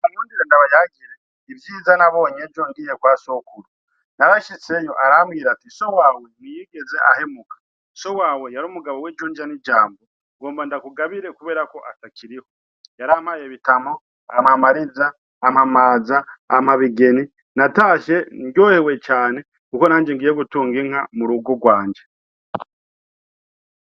Munkundire ndabayagire ivyiza nabonye ngiye kwa sokuru ,narashitseyo arambir'ati:So wawe ntiyigez 'ahemuka, so wawe yar'umugabo w'ijunja n'ijambo, ngira ndakugabire kuberako atakiriho, yarampaye bitamo ,ampa mariza, ampa maza, ampa bigeni natashe nezerewe cane ko nanje ngiy gutung'inka murugo rwanje.